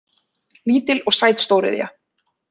Lítil og sæt stóriðja